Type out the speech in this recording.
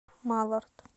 малард